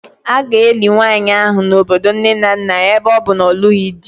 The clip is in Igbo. A ga-eli nwanyị ahụ n'obodo nne na nna ya ebe ọ bụ na ọ na-alụghị di